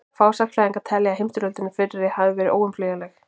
fáir sagnfræðingar telja að heimsstyrjöldin fyrri hafi verið óumflýjanleg